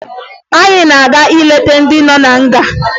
Anyị na-aga ileta ndị nọ na nga